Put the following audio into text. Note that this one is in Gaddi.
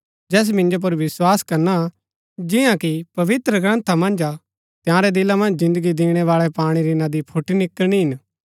जैस मिन्जो पुर विस्वास करणा जिन्‍ना कि पवित्रग्रन्था मन्ज हा तंयारै दिला मन्ज जिन्दगी दिणैबाळै पाणी री नदी फूट्टि निकळणी हिन